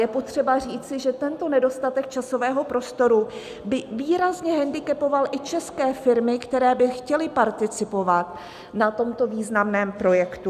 Je potřeba říci, že tento nedostatek časového prostoru by výrazně hendikepoval i české firmy, které by chtěly participovat na tomto významném projektu.